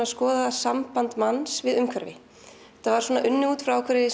að skoða samband manns við umhverfi þetta var unnið út frá ákveðinni